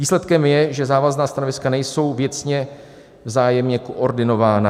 Výsledkem je, že závazná stanoviska nejsou věcně vzájemně koordinována.